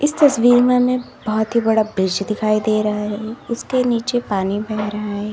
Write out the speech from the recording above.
इस तस्वीर में हमें बहुत ही बड़ा ब्रिश दिखाई दे रहा है उसके नीचे पानी बह रहा है।